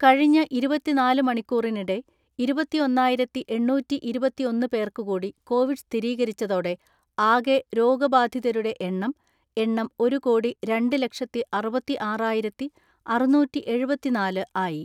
കഴിഞ്ഞ ഇരുപത്തിനാല് മണിക്കൂറിനിടെ ഇരുപത്തിഒന്നായിരത്തിഎണ്ണൂറ്റിഇരുപത്തിഒന്ന് പേർക്ക് കൂടി കോവിഡ് സ്ഥിരീകരിച്ചതോടെ ആകെ രോഗബാധിതരുടെ എണ്ണം എണ്ണം ഒരു കോടി രണ്ട് ലക്ഷത്തിഅറുപത്തിആറായിരത്തിഅറുന്നൂറ്റിഎഴുപത്തിനാല് ആയി.